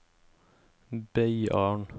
Beiarn